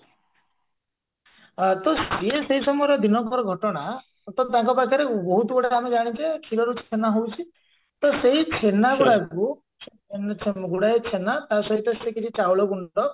ଆ ତ ସେ ସେଇ ସମୟରେ ଦିନକର ଘଟଣା ହଟାତ ତାଙ୍କ ପାଖରେ ବହୁତ ଗୁଡାଏ ଆମେ ଜାଣିଛେ କ୍ଷୀରରୁ ଛେନା ହଉଛି ତ ସେଇ ଗୁଡାକୁ ଗୁଡାଏ ଛେନା ତା ସହିତ ସେ କିଛି ଚାଉଳଗୁଣ୍ଡ